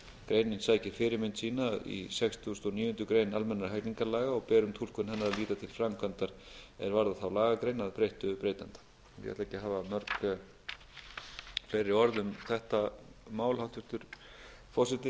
greinin sækir fyrirmynd sína í sextugasta og níundu grein a almennra hegningarlaga og ber um túlkun hennar að líta til framkvæmdar er varðar þá lagagrein að breyttu breytanda ég ætla ekki að hafa mörg fleiri orð um þetta mál hæstvirtur forseti